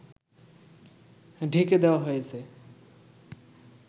ঢেকে দেওয়া হয়েছে